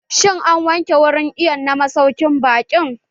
Shin, an wanke wurin iwon na masaukin baƙin?